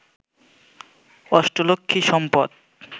অষ্টলক্ষ্মী সম্পদ